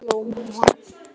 spurði hann að lokum rámur.